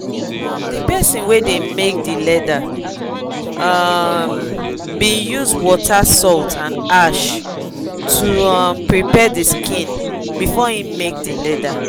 um de person wey dey make de leather um been use water salt and ash to um prepare de skin before em make de leather